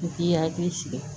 I k'i hakili sigi